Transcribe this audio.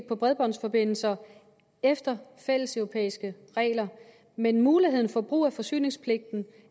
på bredbåndsforbindelserne efter fælleseuropæiske regler men muligheden for brug af forsyningspligten